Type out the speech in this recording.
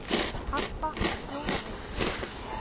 Harpa er þjóðareign